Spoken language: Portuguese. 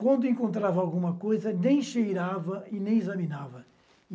Quando encontrava alguma coisa, nem cheirava e nem examinava.